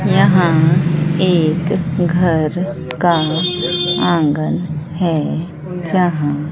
यहां एक घर का आंगन है यहां--